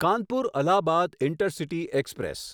Kanpur Allahabad intercity express